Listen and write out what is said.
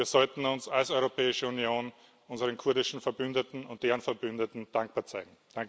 Und wir sollten uns als Europäische Union unseren kurdischen Verbündeten und deren Verbündeten dankbar zeigen.